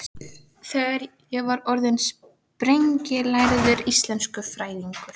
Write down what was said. Þegar ég verð orðin sprenglærður íslenskufræðingur.